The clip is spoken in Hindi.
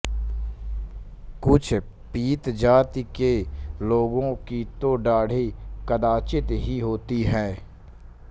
कुछ पीत जाति के लोगों की तो दाढ़ी कदाचित् ही होती है